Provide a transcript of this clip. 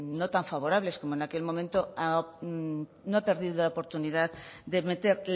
no tan favorables como en aquel momento no ha perdido la oportunidad de meter